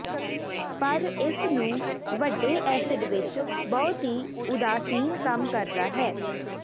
ਪਰ ਇਸ ਨੂੰ ਵੱਡੇ ਐਸਿਡ ਵਿੱਚ ਬਹੁਤ ਹੀ ਉਦਾਸੀਨ ਕੰਮ ਕਰਦਾ ਹੈ